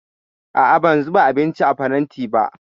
A'a, ban zuba abinci a faranti ba